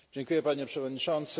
Panie Przewodniczący!